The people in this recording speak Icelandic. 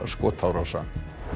skotárása